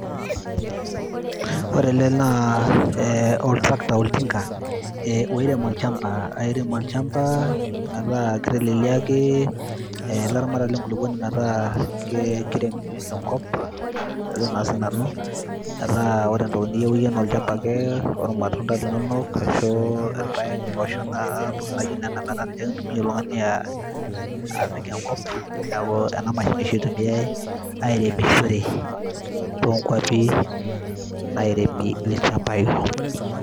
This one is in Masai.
ore ele naa eh, ol tractor, oltinka oirem olchamba, airem olchamba metaa kiteleliaki eh, ilaramatak lenkulupuoni metaa ke, kirem enkop ajo naa sinanu metaa ore entoki niyieu iyie naa olchamba ake ormatunda linonok ashu irpayek imposhok ana intokitin naijio nena metaa ninche ake intumia oltung'ani apik enkop niaku ena mashini oshi itumiae airemishore tonkuapi nairemi ilchambai.